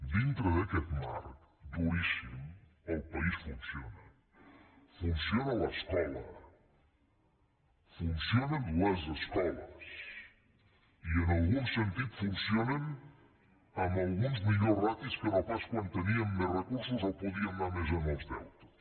dintre d’aquest marc duríssim el país funciona funciona l’escola funcionen les escoles i en algun sentit funcionen amb algunes millors ràtios que no pas quan teníem més recursos o podíem anar més als deutes